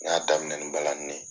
N y'a daminɛ ni balani ne ye.